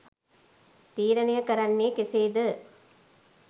තීරණය කරන්නේ කෙසේද?